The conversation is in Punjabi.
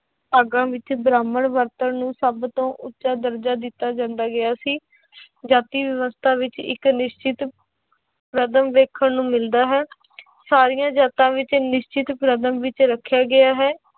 ਭਾਗਾਂ ਵਿੱਚ ਬ੍ਰਾਹਮਣ ਵਰਤਣ ਨੂੰ ਸਭ ਤੋਂ ਉੱਚਾ ਦਰਜ਼ਾ ਦਿੱਤਾ ਜਾਂਦਾ ਗਿਆ ਸੀ ਜਾਤੀ ਵਿਵਸਥਾ ਵਿੱਚ ਇੱਕ ਨਿਸ਼ਚਿਤ ਵੇਖਣ ਨੂੰ ਮਿਲਦਾ ਹੈ ਸਾਰੀਆਂ ਜਾਤਾਂ ਵਿੱਚ ਨਿਸ਼ਚਿਤ ਵਿੱਚ ਰੱਖਿਆ ਗਿਆ ਹੈ।